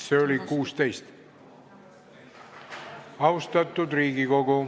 Ettepanekut nr 16?